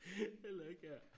heller ikke her